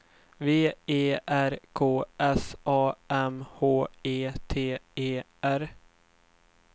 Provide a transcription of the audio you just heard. V E R K S A M H E T E R